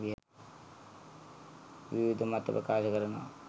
විවිධ මත ප්‍රකාශ කරනවා.